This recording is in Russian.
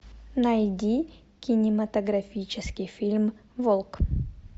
найди кинематографический фильм волк